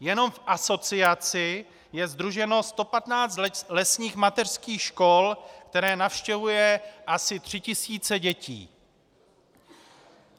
Jenom v asociaci je sdruženo 115 lesních mateřských škol, které navštěvují asi 3 tisíce dětí.